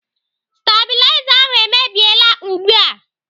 Stabiliza ahụ emebiela ugbu a.